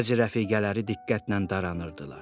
Bəzi rəfiqələri diqqətlə daranərdılar.